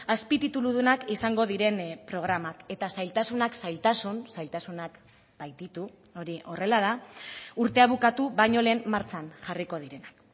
azpitituludunak izango diren programak eta zailtasunak zailtasun zailtasunak baititu hori horrela da urtea bukatu baino lehen martxan jarriko direnak